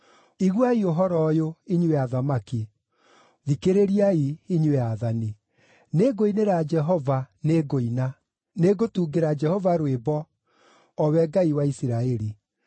“Iguai ũhoro ũyũ, inyuĩ athamaki! Thikĩrĩriai, inyuĩ aathani! Nĩngũinĩra Jehova, nĩngũina; nĩngũtungĩra Jehova rwĩmbo, o we Ngai wa Isiraeli.